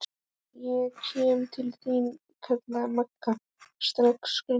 Ég kem til þín kallaði Magga strax glaðlegri.